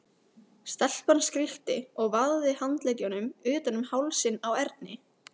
Stelpan skríkti og vafði handleggjunum utan um hálsinn á Erni.